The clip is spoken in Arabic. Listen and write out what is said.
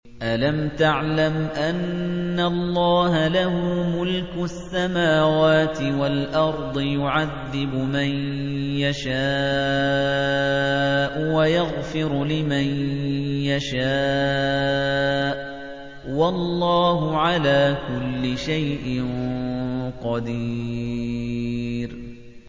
أَلَمْ تَعْلَمْ أَنَّ اللَّهَ لَهُ مُلْكُ السَّمَاوَاتِ وَالْأَرْضِ يُعَذِّبُ مَن يَشَاءُ وَيَغْفِرُ لِمَن يَشَاءُ ۗ وَاللَّهُ عَلَىٰ كُلِّ شَيْءٍ قَدِيرٌ